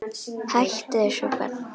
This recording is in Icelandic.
Hættu þessu barn!